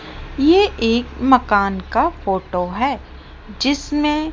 ये एक मकान का फोटो है जिसमें--